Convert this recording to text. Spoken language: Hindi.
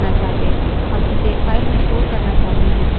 क्या होगा यदि हम इसे terminal पर प्रदर्शित नहीं करना चाहते